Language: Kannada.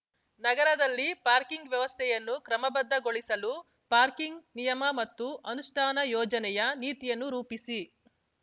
ನಗರದಲ್ಲಿ ಪಾರ್ಕಿಂಗ್ ವ್ಯವಸ್ಥೆಯನ್ನು ಕ್ರಮಬದ್ಧಗೊಳಿಸಲು ಪಾರ್ಕಿಂಗ್ ನಿಯಮ ಮತ್ತು ಅನುಷ್ಠಾನ ಯೋಜನೆಯ ನೀತಿಯನ್ನು ರೂಪಿಸಿ